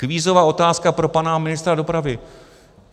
Kvízová otázka pro pana ministra dopravy.